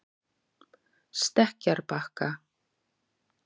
Stekkjarbakka